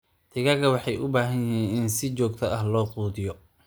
Digaagga waxay u baahan yihiin in si joogto ah loo quudiyo.